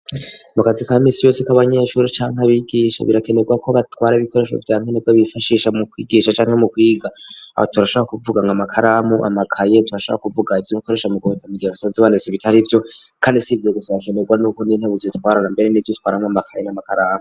Mu kazi kaminsi yose k'abanyeshuri canke kabigisha birakenerwa ko batwara ibikoresho vyankenerwa nibwo bifashisha mu kwigisha canke mu kwiga .Aho turashabora kuvuga amakaramu, amakaye turashabora kuvuga ivyo bakoresha mu mi gihe basanze baronse bitari vyo kandi si ivyo gusa bakenerwa n'uko nditebuzo twarana mbere nivyo itwaramwo amakaye n'amakaramu.